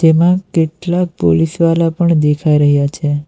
એમાં કેટલાક પોલીસવાલા પણ દેખાઈ રહ્યા છે.